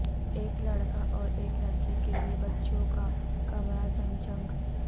ایک لڑکا اور ایک لڑکی کے لئے بچوں کا کمرہ زنجنگ